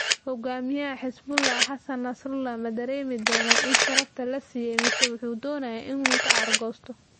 Hoggaamiyaha Xisbullah Xasan Nasrullah ma dareemi doonaa in sharafta la siiyay mise wuxuu doonayaa inuu ka aargoosto?